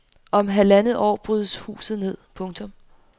Om halvandet år brydes huset ned. punktum